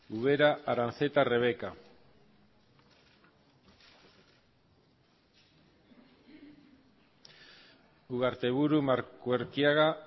ubera aranzeta rebeka ugarteburu markuerkiaga